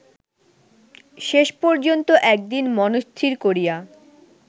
শেষপর্যন্ত একদিন মনস্থির করিয়া